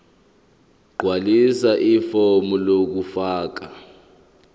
gqwalisa ifomu lokufaka